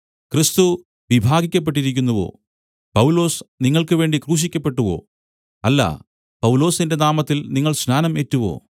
ക്രിസ്തു വിഭാഗിക്കപ്പെട്ടിരിക്കുന്നുവോ പൗലൊസ് നിങ്ങൾക്കുവേണ്ടി ക്രൂശിക്കപ്പെട്ടുവോ അല്ല പൗലൊസിന്റെ നാമത്തിൽ നിങ്ങൾ സ്നാനം ഏറ്റുവോ